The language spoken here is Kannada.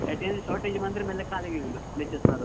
Attendance shortage ಬಂದ್ರೆ ಮೇಲೆ ಕಾಲಿಗೆ ಬೀಳುದು, lectures ನವರದ್ದು.